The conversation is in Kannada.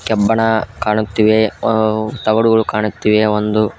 ಕಬ್ಬಣ ಕಾಣುತ್ತಿವೆ ತಗಡುಗಳು ಕಾಣುತ್ತಿವೆ ಒಂದು--